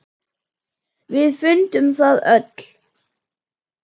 Við fundum það öll.